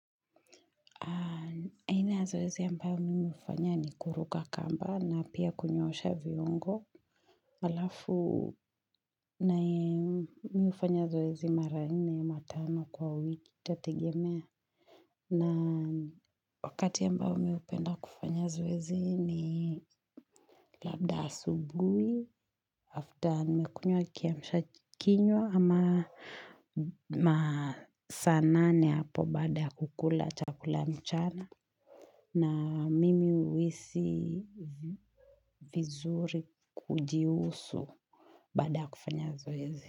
Aina ya zoezi ambayo mimi hufanya ni kuruka kamba na pia kunyoosha viongo. Alafu na mimi ufanya zoezi mara nne ama tano kwa wiki itategemea. Na wakati ambao mimi upenda kufanya zoezi ni labda asubuhi. After nimekunywa kiamsha kinywa ama masaa nane hapo baada ya kukula chakula mchana. Na mimi huisi vizuri kujihusu baada ya kufanya zoezi.